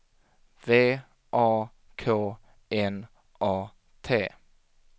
V A K N A T